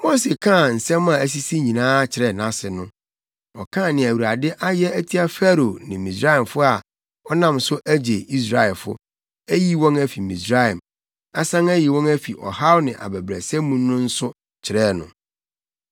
Mose kaa nsɛm a asisi nyinaa kyerɛɛ nʼase no. Ɔkaa nea Awurade ayɛ atia Farao ne Misraimfo a ɔnam so agye Israelfo, ayi wɔn afi Misraim, asan ayi wɔn afi ɔhaw ne abɛbrɛsɛ mu no nso kyerɛɛ no.